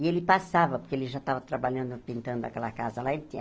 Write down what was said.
E ele passava, porque ele já estava trabalhando, pintando aquela casa lá. Ele tinha